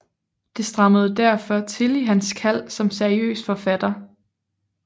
Det strammede derfor til i hans kald som seriøs forfatter